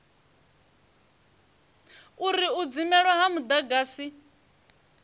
uri u dzimelwa ha mudagasi